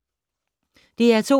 DR2